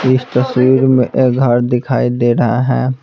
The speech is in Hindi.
इस तस्वीर में एक घर दिखाई दे रहा है।